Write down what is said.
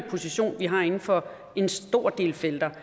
position vi har inden for en stor del felter